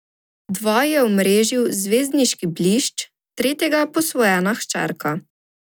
Dva je omrežil zvezdniški blišč, tretjega posvojena hčerka.